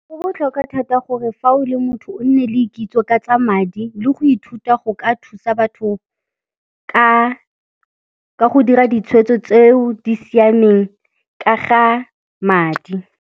Go botlhokwa thata gore fa o le motho o nne le kitso ka tsa madi le go ithuta go ka thusa batho ka go dira ditshweetso tseo di siameng ka ga madi.